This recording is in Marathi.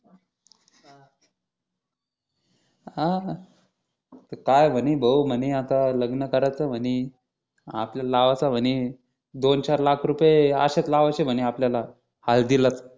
अह काय म्हणे भो आता लग्न करायचं म्हणे आपल्याला लावाच म्हणे दोन चार लाख रुपये असेच लावायचे म्हणे आपल्याला